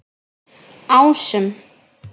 Ásum